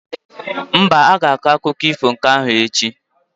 Mba, a ga-akụkọ ifo nke ahụ echi.